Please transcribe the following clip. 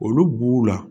Olu b'u la